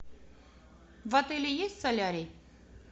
в отеле есть солярий